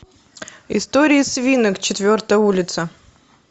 истории свинок четвертая улица